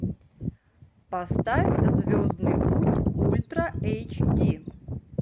поставь звездный путь ультра эйч ди